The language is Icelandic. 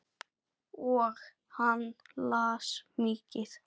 Og hann las mikið.